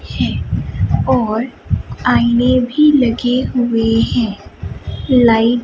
है और आईने भी लगे हुए है लाइट --